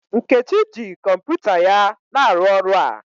Nkechi ji kọmpụta ya na aru ọrụ a.